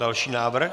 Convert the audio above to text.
Další návrh?